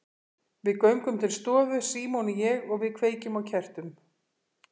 Við göngum til stofu, Símon og ég, og við kveikjum á kertum.